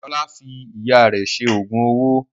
Ọlá fi Ìyá rẹ̀ ṣe oògùn owó